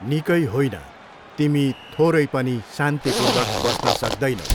निकै होइन, तिमी थोरै पनि शान्तिपूर्वक बस्न सक्दैनौ।